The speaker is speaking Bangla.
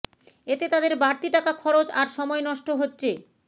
এতে তাদের বাড়তি টাকা খরচ আর সময় নষ্ট হচ্ছে